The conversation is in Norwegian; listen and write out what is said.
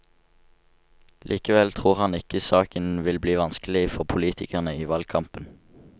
Likevel tror han ikke saken vil bli vanskelig for politikerne i valgkampen.